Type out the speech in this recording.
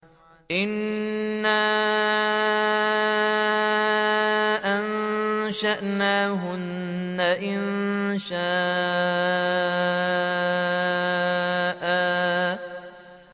إِنَّا أَنشَأْنَاهُنَّ إِنشَاءً